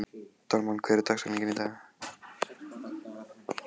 Dalmann, hver er dagsetningin í dag?